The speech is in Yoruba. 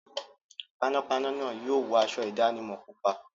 Panápaná náà yóò wọ aṣọ ìdánimọ̀ pupa.